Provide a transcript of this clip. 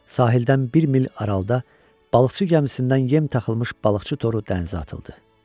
Sahildən bir mil aralıda balıqçı gəmisindən yem taxılmış balıqçı toru dənizə atıldı.